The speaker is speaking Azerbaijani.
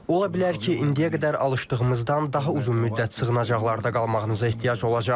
Ola bilər ki, indiyə qədər alışdığımızdan daha uzun müddət sığınacaqlarda qalmağınıza ehtiyac olacaq.